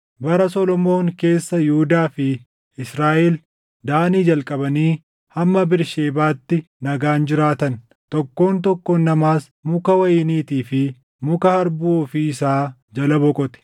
Bara Solomoon keessa Yihuudaa fi Israaʼel Daanii jalqabanii hamma Bersheebaatti nagaan jiraatan; tokkoon tokkoon namaas muka wayiniitii fi muka harbuu ofii isaa jala boqote.